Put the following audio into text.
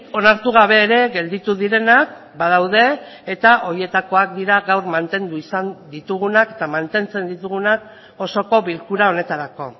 onartu gabe ere gelditu direnak badaude eta horietakoak dira gaur mantendu izan ditugunak eta mantentzen ditugunak osoko bilkura honetarako